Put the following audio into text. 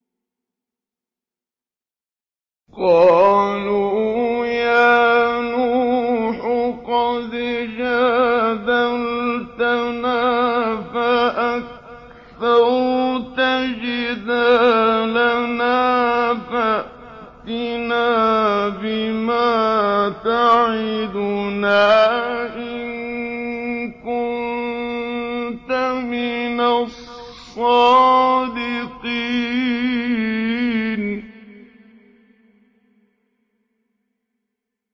قَالُوا يَا نُوحُ قَدْ جَادَلْتَنَا فَأَكْثَرْتَ جِدَالَنَا فَأْتِنَا بِمَا تَعِدُنَا إِن كُنتَ مِنَ الصَّادِقِينَ